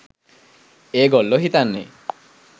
ඒගොල්ලො හිතන්නේ